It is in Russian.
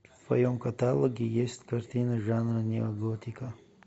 в твоем каталоге есть картина жанра неоготика